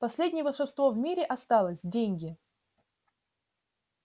последнее волшебство в мире осталось деньги